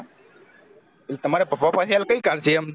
તમારે પાપા પાશે હાલ કયી car છે એમ